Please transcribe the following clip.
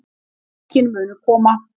Mörkin munu koma